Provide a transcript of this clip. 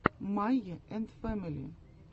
майя энд фэмили